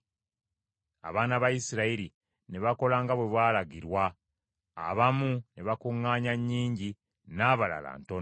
Abaana ba Isirayiri ne bakola nga bwe baalagirwa; abamu ne bakuŋŋaanya nnyingi, n’abalala ntono.